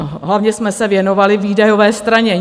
Hlavně jsme se věnovali výdajové straně.